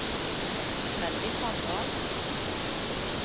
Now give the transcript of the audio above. Freddy Sandal